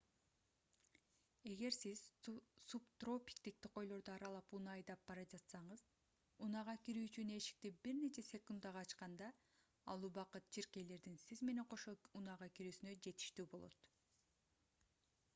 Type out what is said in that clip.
эгер сиз субтропиктик токойлорду аралап унаа айдап бара жатсаңыз унаага кирүү үчүн эшикти бир нече секундага ачканда ал убакыт чиркейлердин сиз менен кошо унаага кирүүсүнө жетиштүү болот